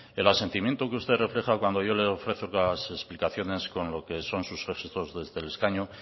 el asentimiento que usted refleja cuando yo le ofrezco las explicaciones con lo que son sus gestos desde el escaño